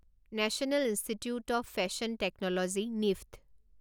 national institute of fashion technology নিফট